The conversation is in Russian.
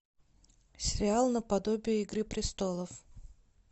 сериал наподобие игры престолов